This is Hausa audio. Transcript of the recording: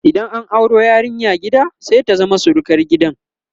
idan an auro yarinya gida sai ta zama surukar gidan